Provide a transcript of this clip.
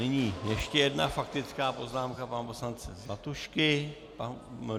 Nyní ještě jedna faktická poznámka pana poslance Zlatušky.